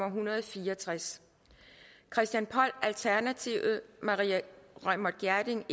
en hundrede og fire og tres christian poll maria reumert gjerding